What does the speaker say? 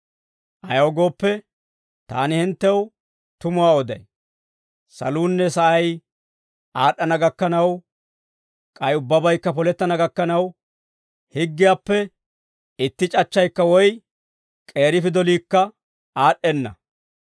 Ayaw gooppe, taani hinttew tumuwaa oday; saluunne sa'ay aad'd'ana gakkanaw, k'ay ubbabaykka polettana gakkanaw, higgiyaappe itti c'achchaykka woy k'eeri pidoliikka aad'd'enna.